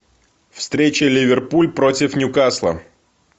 встреча ливерпуль против ньюкасла